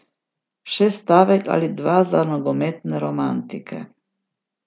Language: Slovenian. Še stavek ali dva za nogometne romantike.